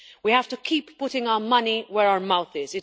We have to keep putting our money where our mouth is.